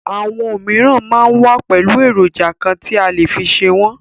Àwọn òmíràn máa ń wà pẹ̀lú èròjà kan tí a lè fi ṣe wọn.